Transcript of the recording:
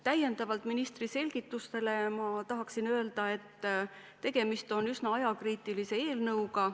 Täiendavalt ministri selgitustele tahan öelda, et tegemist on üsna ajakriitilise eelnõuga.